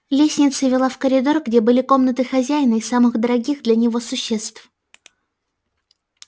лестница вела в коридор где были комнаты хозяина и самых дорогих для него существ